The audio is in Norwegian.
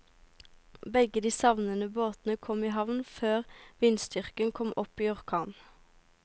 Begge de savnede båtene kom i havn før vindstyrken kom opp i orkan.